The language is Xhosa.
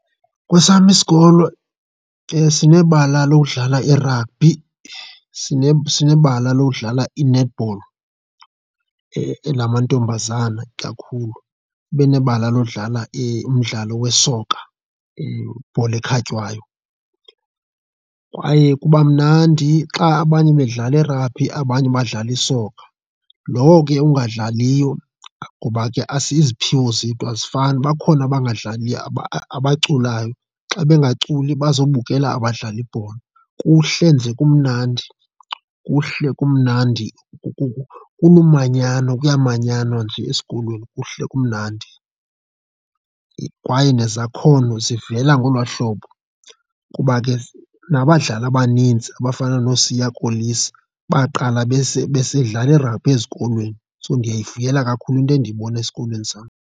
Kwesam isikolo sinebala lokudlala irabhi, sinebala lodlala i-netball, ela mamantombazana kakhulu, ibe nebala lodlala umdlalo wesoka, ibhola ekhatywayo, kwaye kuba mnandi xa abanye bedlala irabhi, abanye badlala isoka. Lowo ke ungadlaliyo ngoba ke iziphiwo zethu azifani, bakhona bangadlaliyo abaculayo. Xa bengaculi bazobukela abadlala ibhola, kuhle nje kumnandi, kuhle kumnandi kulumanyano kuyamanyanwa nje esikolweni, kuhle kumnandi. Kwaye nezakhono zivela ngolwaa hlobo kuba ke nabadlali abaninzi abafana nooSiya Kolisi baqala besidlala irabhi ezikolweni, so ndiyayivuyela kakhulu into endiyibona esikolweni sam.